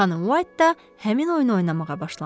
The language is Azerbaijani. Xanım White da həmin oyunu oynamağa başlamışdı.